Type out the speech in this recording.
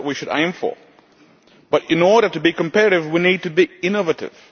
That is what we should aim for, but in order to be competitive we need to be innovative.